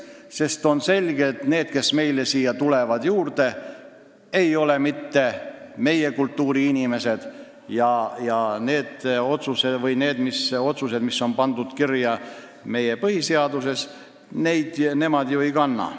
See on selge, et need, kes meile siia juurde tulevad, ei ole mitte meie kultuuri inimesed ja neid väärtusi, mis on pandud kirja meie põhiseadusse, nemad ei kanna.